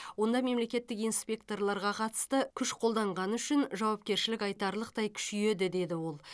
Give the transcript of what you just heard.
онда мемлекеттік инспекторларға қатысты күш қолданғаны үшін жауапкершілік айтарлықтай күшейеді деді ол